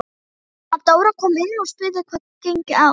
Mamma Dóra kom inn og spurði hvað gengi á.